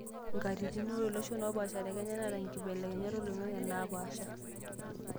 Nkatitin:Ore iloshon opaasha te Kenya neata nkibelekenyat oloing'ang'e naa paasha.